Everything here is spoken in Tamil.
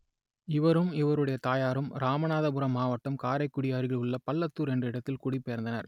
இவரும் இவருடைய தாயாரும் இராமநாதபுரம் மாவட்டம் காரைக்குடிக்கு அருகிலுள்ள பள்ளத்தூர் என்ற இடத்தில் குடிபெயர்ந்தனர்